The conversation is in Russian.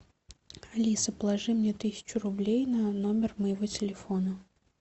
алиса положи мне тысячу рублей на номер моего телефона